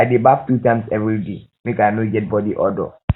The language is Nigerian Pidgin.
i dey baff two times everyday make i no no get bodi odour